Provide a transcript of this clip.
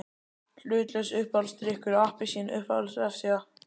Hlutlaus Uppáhaldsdrykkur: Appelsín Uppáhalds vefsíða?